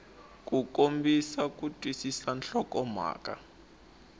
ku kombisa ku twisisa nhlokomhaka